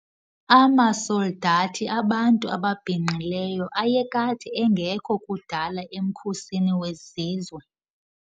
Amasoldathi abantu ababhinqileyo ayekade engekho kudala emkhosini wezizwe.